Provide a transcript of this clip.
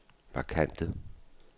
markante